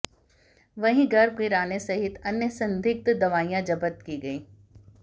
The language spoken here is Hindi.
वहीं गर्भ गिराने सहित अन्य संदिग्ध दवाइयां जब्त की हैं